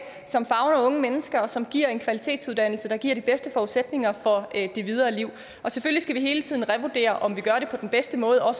som favner unge mennesker og som giver en kvalitetsuddannelse der giver de bedste forudsætninger for det videre liv og selvfølgelig skal vi hele tiden revurdere om vi gør det på den bedste måde og